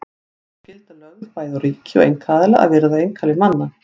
Hér er sú skylda lögð bæði á ríki og einkaaðila að virða einkalíf manna.